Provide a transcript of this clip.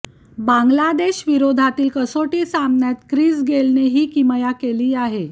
बांगलादेशविरोधातील कसोटी सामन्यात ख्रिस गेलने ही किमया केली आहे